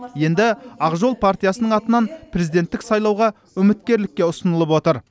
енді ақ жол партиясының атынан президенттік сайлауға үміткерлікке ұсынылып отыр